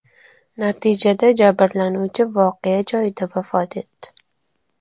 Natijada jabrlanuvchi voqea joyida vafot etdi.